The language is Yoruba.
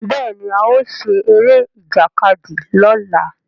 Béèni ao ṣe Eré Ìjàkadì lọla.